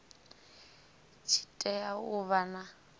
tshi tea u vha na